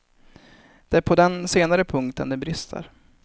Det är på den senare punkten det brister.